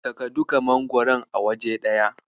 Saka duka magwaron a waje ɗaya.